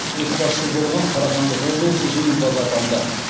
көшбасшы болған қарағанды облысы жеңімпаз атанды